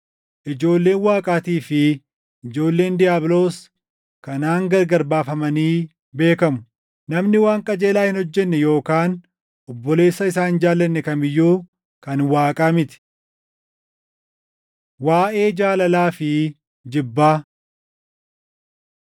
Ijoolleen Waaqaatii fi ijoolleen diiyaabiloos kanaan gargar baafamanii beekamu: Namni waan qajeelaa hin hojjenne yookaan obboleessa isaa hin jaallanne kam iyyuu kan Waaqaa miti. Waaʼee Jaalalaa fi Jibbaa